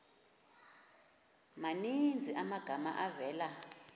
maninzi amagama avela